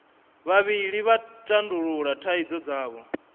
vhavhili vha tandulula thaidzo dzavho